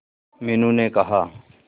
मीनू ने कहा